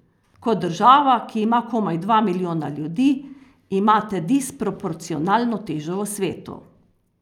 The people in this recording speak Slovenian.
Kot država, ki ima komaj dva milijona ljudi, imate disproporcionalno težo v svetu.